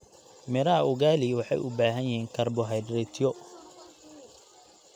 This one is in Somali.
Midhaha ugali waxay u baahan yihiin karbohaydraytyo.